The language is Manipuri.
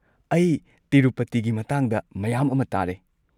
ꯑꯩ ꯇꯤꯔꯨꯄꯇꯤꯒꯤ ꯃꯇꯥꯡꯗ ꯃꯌꯥꯝ ꯑꯃ ꯇꯥꯔꯦ꯫